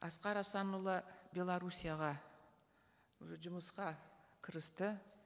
асқар асанұлы белоруссияға уже жұмысқа кірісті